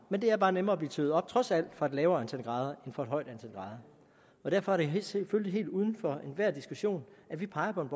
men det er bare nemmere at blive tøet op trods alt fra et lavere antal grader end fra et højt antal grader derfor er det selvfølgelig helt uden for enhver diskussion at vi peger på en